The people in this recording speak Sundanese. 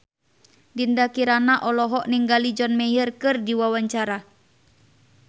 Dinda Kirana olohok ningali John Mayer keur diwawancara